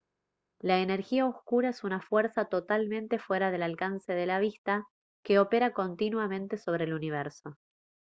la energía oscura es una fuerza totalmente fuera del alcance de la vista que opera continuamente sobre el universo